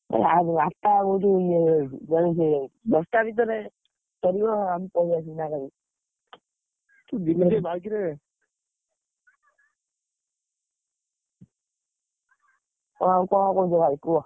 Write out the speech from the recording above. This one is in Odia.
ଆ~ ଆଠଟାରୁ ଦଶ ଟା ଭିତରେ, ସରିବ ଆମେ ପଳେଇ ଆସିବୁ ସାଙ୍ଗରେ, ଆଉ କଣ କହୁଛ ଭାଇ କୁହ?